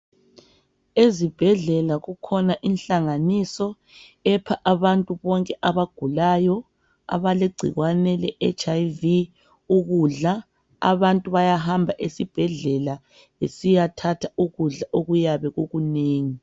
Ezibhedlela kukhona inhlanganiso epha abantu bonke abagulayo, abalegcikwane leHIV ukudla. Abantu bayahamba esibhedlela besiyathatha ukudla okuyabe kukunengi.